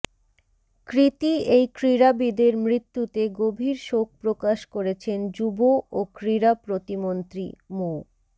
কৃতি এই ক্রীড়াবিদের মৃত্যুতে গভীর শোক প্রকাশ করেছেন যুব ও ক্রীড়া প্রতি মন্ত্রী মো